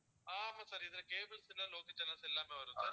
ஆஹ் ஆமா sir இதுல cables ல local channels எல்லாமே வரும் sir